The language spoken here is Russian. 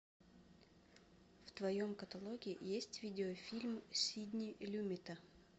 в твоем каталоге есть видеофильм сидни люмета